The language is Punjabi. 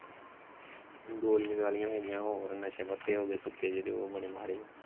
ਗੋਲੀਆਂ ਗਾਲੀਆਂ ਹੋਗੀਆਂ ਹੋਰ ਨਸ਼ੇ ਪੱਤੇ ਹੋਗੇ ਸੁੱਕੇ ਜਿਹੜੇ ਉਹ ਬੜੇ ਮਾੜੇ।